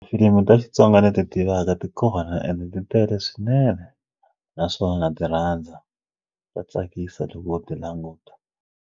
Filimu ta Xitsonga ni ti tivaka ti kona ende ti tele swinene naswo na ti rhandza ta tsakisa loko u ti languta.